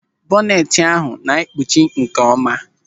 Bọneti ahụ ga-ekpuchi nkeọma.